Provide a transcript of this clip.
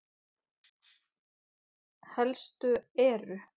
Helstu eru